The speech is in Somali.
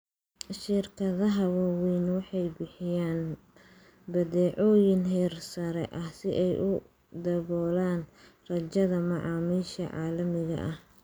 Shirkadaha waaweyni waxay bixiyaan badeecooyin heersare ah si ay u daboolaan rajada macaamiisha caalamiga ah.